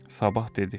Sabah dedi.